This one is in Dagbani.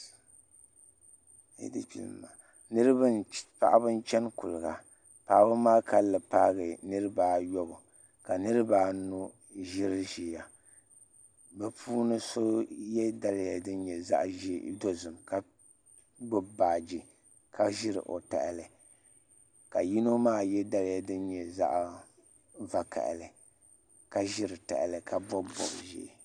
Paɣaba n chɛni kuliga paɣaba maa kanli paagi niraba ayobu ka niraba anu ʒiri ʒiya bi puuni so yɛ daliya din nyɛ zaɣ dozim ka gbubi baaji ka ʒiri o tahali ka yino maa yɛ daliya din nyɛ zaɣ vakaɣali ka ʒiri tahali ka bob bob ʒiɛ